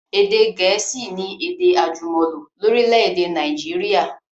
Èdè gẹ̀ẹ̀síì ni èdè àjùmọ̀lò lórílẹ̀dè Naijiria